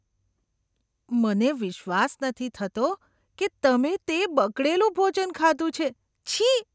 મને વિશ્વાસ નથી થતો કે તમે તે બગડેલું ભોજન ખાધું છે. છી!